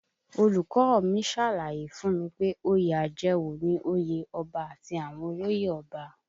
Olùkọ́ ọ mi ṣàlàyé fún mi pé oyè àjẹwọ̀ ni òye ọba àti àwọn olóyè ọba